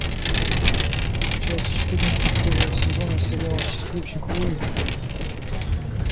часть четырнадцать первого сезона сериала счастливчик луи